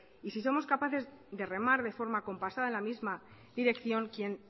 y si somos capaces de remar de forma compasada en la misma dirección quien